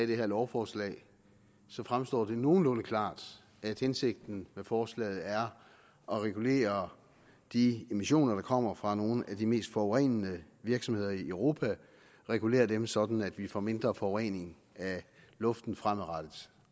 det her lovforslag fremstår det nogenlunde klart at hensigten med forslaget er at regulere de emissioner der kommer fra nogle af de mest forurenende virksomheder i europa regulere dem sådan at vi får mindre forurening af luften fremadrettet